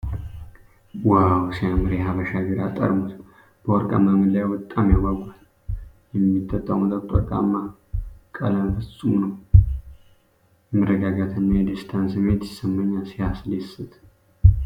ዋው ሲያምር! የሐበሻ ቢራ ጠርሙስ በወርቃማ መለያው በጣም ያጓጓል። የሚጠጣው መጠጥ ወርቃማ ቀለም ፍጹም ነው። የመረጋጋትና የደስታ ስሜት ይሰማኛል። ሲያስደስት!